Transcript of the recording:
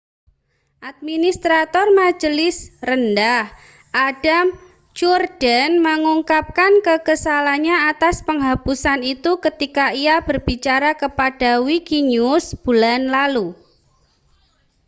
administrator majelis rendah adam cuerden mengungkapkan kekesalannya atas penghapusan itu ketika ia berbicara kepada wikinews bulan lalu